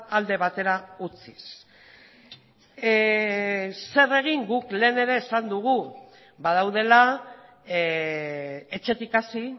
alde batera utziz zer egin guk lehen ere esan dugu badaudela etxetik hasi